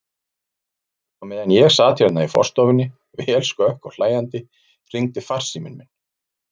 Á meðan ég sat hérna í stofunni, vel skökk og hlæjandi, hringdi farsíminn minn.